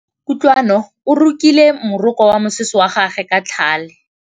Kutlwanô o rokile morokô wa mosese wa gagwe ka tlhale.